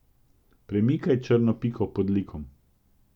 Premikaj črno piko pod likom.